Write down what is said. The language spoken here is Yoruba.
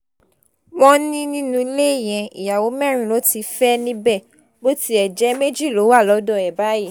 wọ́n ní nínú ilé yẹn ìyàwó mẹ́rin ló ti fẹ́ níbẹ̀ bó tiẹ̀ jẹ́ méjì ló wà lọ́dọ̀ ẹ̀ báyìí